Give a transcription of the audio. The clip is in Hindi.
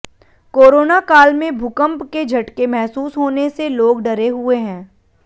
कोरोना काल में भूकंप के झटके महसूस होने से लोग डरे हुए हैं